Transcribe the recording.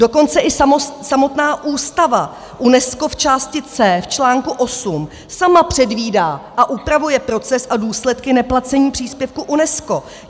Dokonce i samotná Ústava UNESCO v části C v čl. 8 sama předvídá a upravuje proces a důsledky neplacení příspěvku UNESCO.